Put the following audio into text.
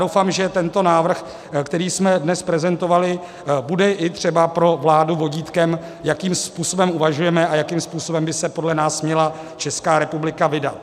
Doufám, že tento návrh, který jsme dnes prezentovali, bude i třeba pro vládu vodítkem, jakým způsobem uvažujeme a jakým způsobem by se podle nás měla Česká republika vydat.